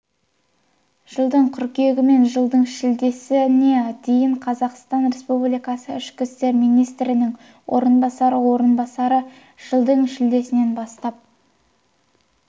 жылдың қыркүйегі мен жылдың шілдесіне дейін қазақстан республикасы ішкі істер министрінің орынбасары орынбасары жылдың шілдесінен бастап